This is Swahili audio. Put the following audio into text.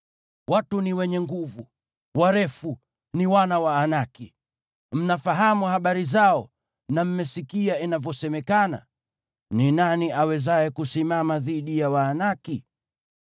Watu ni wenye nguvu na warefu, ni wana wa Waanaki! Mnafahamu habari zao na mmesikia inavyosemekana: “Ni nani awezaye kusimama dhidi ya Waanaki?”